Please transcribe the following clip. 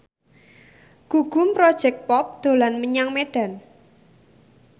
Gugum Project Pop dolan menyang Medan